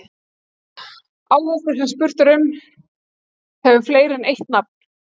Áhaldið sem spurt er um hefur fleiri en eitt nafn.